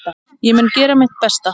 Ég mun gera mitt besta.